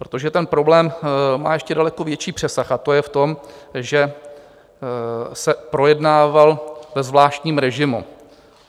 Protože ten problém má ještě daleko větší přesah, a to je v tom, že se projednával ve zvláštním režimu.